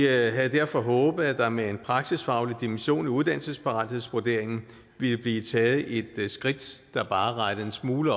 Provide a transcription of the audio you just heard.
havde derfor håbet at der med en praksisfaglig dimension i uddannelsesparathedsvurderingen ville blive taget et skridt der bare rettede en smule